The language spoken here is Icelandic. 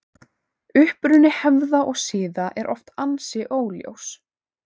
Uppruni hefða og siða er oft ansi óljós.